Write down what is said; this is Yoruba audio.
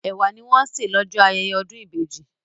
Ẹ̀wà ni wọ́n ń sè lọ́jọ́ ayẹyẹ ọdún ìbejì.